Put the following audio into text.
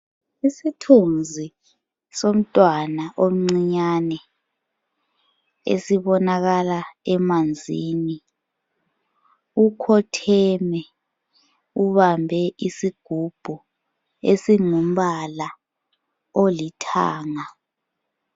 Isithunzi somntwana omncinyane esibonakala emanzini. Ukhotheme ubambe isigubhu ezingumbala olithanga.